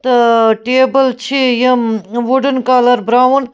تٟہ table چٕھ یِم wooden colour brown